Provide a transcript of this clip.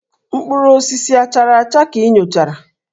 Mkpụrụ osisi a chara acha ka ị nyochara?